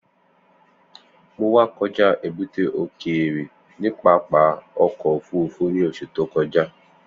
Mo wa kọja ebute okeere ni pápá ọkọ ofurufu ni oṣu to kọja.